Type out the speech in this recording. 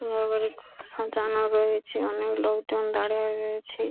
সব জানা রয়েছে অনেক লোকজন দাঁড়িয়ে রয়েছে ।